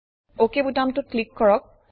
অক বুতামটোত ক্লিক কৰক